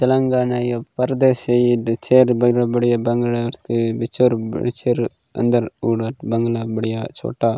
तेलंगाना ये परदेसी दू छेद बढ़िया - बढ़िया बंगला बिछोर - बिछौर अंदर उड़द बंगला बढ़िया छोटा --